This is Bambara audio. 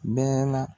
Bɛɛ la